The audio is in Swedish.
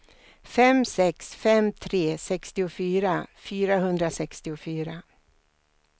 fem sex fem tre sextiofyra fyrahundrasextiofyra